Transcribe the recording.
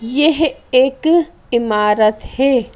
यह एक इमारत है।